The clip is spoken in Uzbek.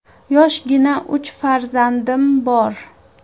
Yoshgina uch farzandim bor.